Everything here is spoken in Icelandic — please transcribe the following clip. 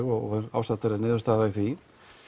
og ásættanleg niðurstaða í því